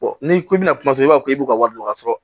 n'i ko i bɛna kuma kuma i b'a fɔ k'i b'u ka wari dɔ sɔrɔ